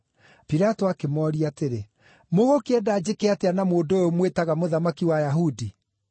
Pilato akĩmooria atĩrĩ, “Mũgũkĩenda njĩke atĩa na mũndũ ũyũ mwĩtaga mũthamaki wa Ayahudi?”